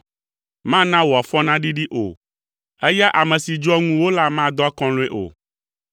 Mana wò afɔ naɖiɖi o, eya ame si dzɔa ŋuwò la madɔ akɔlɔ̃e o.